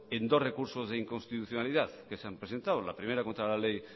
en dos recursos de inconstitucionalidad que se han presentado la primera contra la ley